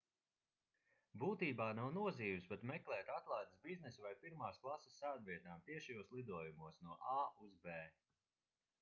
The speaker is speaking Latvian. būtībā nav nozīmes pat meklēt atlaides biznesa vai pirmās klases sēdvietām tiešajos lidojumos no a uz b